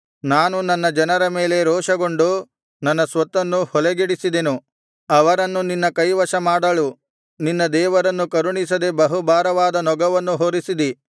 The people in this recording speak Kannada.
ನಾನು ನನ್ನ ಜನರ ಮೇಲೆ ರೋಷಗೊಂಡು ನನ್ನ ಸ್ವತ್ತನ್ನು ಹೊಲೆಗೆಡಿಸಿದೆನು ಅವರನ್ನು ನಿನ್ನ ಕೈವಶ ಮಾಡಳು ನೀನು ಅವರನ್ನು ಕರುಣಿಸದೆ ಬಹುಭಾರವಾದ ನೊಗವನ್ನು ಹೊರಿಸಿದಿ